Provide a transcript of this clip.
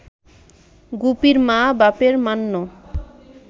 গুপির মা- বাপের মান্য